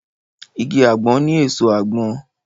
Igi àgbọn ní èso àgbọn